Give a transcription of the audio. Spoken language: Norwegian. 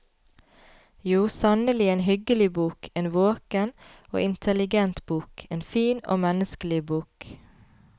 Jo, sannelig, en hyggelig bok, en våken og intelligent bok, en fin og menneskelig bok.